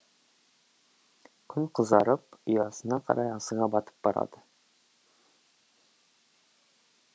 күн қызарып ұясына қарай асыға батып барады